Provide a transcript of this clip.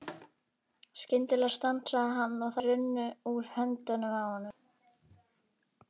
Skyndilega stansaði hann og þær runnu úr höndunum á honum.